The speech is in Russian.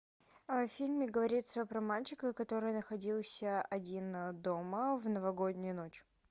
в фильме говорится про мальчика который находился один дома в новогоднюю ночь